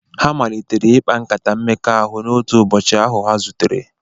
Ha malitere ịkpa nkata mmekọahụ n’otu ụbọchị ahụ ha zutere.